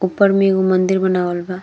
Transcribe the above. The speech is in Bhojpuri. ऊपर में एगो मंदीर बनावाल बा।